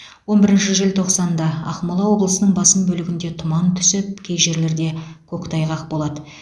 он бірінші желтоқсанда ақмола облысының басым бөлігінде тұман түсіп кей жерлерде көктайғақ болады